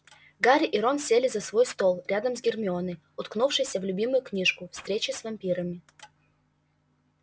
гарри и рон сели за свой стол рядом с гермионой уткнувшейся в любимую книжку встречи с вампирами